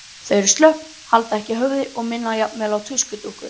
Þau eru slöpp, halda ekki höfði og minna jafnvel á tuskudúkkur.